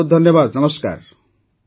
ବହୁତ ବହୁତ ଧନ୍ୟବାଦ ନମସ୍କାର